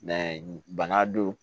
bana don